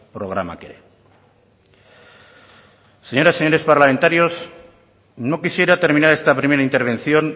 programak ere señoras y señores parlamentarios no quisiera terminar esta primera intervención